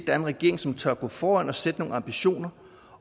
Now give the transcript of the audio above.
er en regering som tør gå foran og sætte nogle ambitioner